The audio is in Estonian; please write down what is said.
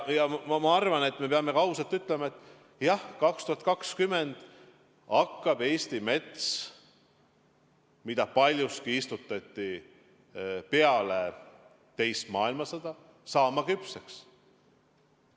Ja ma arvan, et me peame ka ausalt ütlema, et jah, 2020. aastal hakkab Eesti mets, mida paljuski istutati peale teist maailmasõda, saama küpseks.